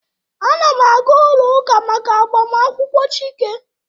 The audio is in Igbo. A na m aga ụlọ ụka maka agbamakwụkwọ Chike